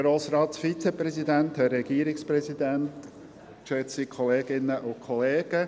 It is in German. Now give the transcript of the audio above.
Kommissionssprecher der FiKo-Mehrheit.